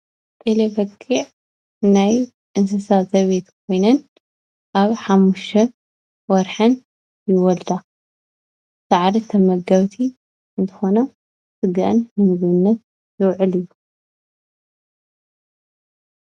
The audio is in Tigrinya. ጤለ በጊዕ ናይ እንስሳ ዘቤት ኮይነን ኣብ 5 ወርሐን ይወልዳ፡፡ ሳዕሪ ተመገብቲ እንትኮና ስገአን ንምግብነት ዝውዕል እዩ፡፡